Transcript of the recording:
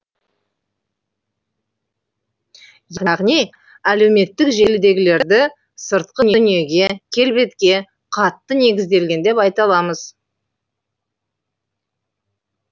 яғни әлеуметтік желідегілерді сыртқы дүниеге келбетке қатты негізделген деп айта аламыз